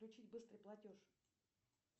включить быстрый платеж